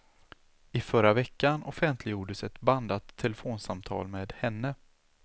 I förra veckan offentliggjordes ett bandat telefonsamtal med henne.